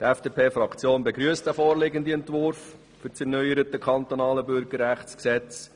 Die FDP-Fraktion begrüsst den vorliegenden Entwurf für das erneuerte Kantonale Bürgerrechtsgesetz.